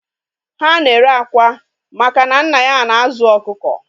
Ha na-ere akwa maka na nna ya na-azụ ọkụkọ